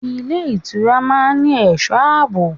Ilé ìtura máa ń ní ẹ̀sọ́ àbò.